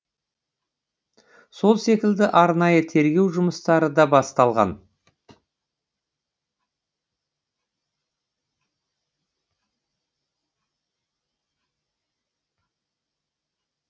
сол секілді арнайы тергеу жұмыстары да басталған